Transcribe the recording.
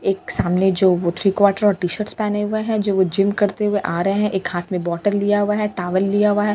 एक सामने जो वो थ्री क्वाटर और टी-शर्ट पहने हुए हैं जो वो जिम करते हुए आ रहे हैं एक हाथ में बॉटल लिया हुआ है टावल लिया हुआ है।